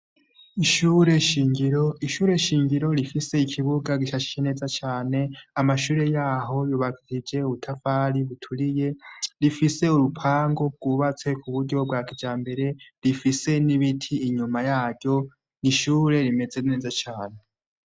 Ishure nshigiro gifise ikibuga gishajije cane amashure yaho yubakishije udutafari duturiye rifise urupangu rwubatse kuburyo bwakijambere rifise nibiti inyuma yaho nishure rimeze neza cane